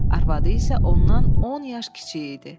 Arvadı isə ondan 10 yaş kiçiyi idi.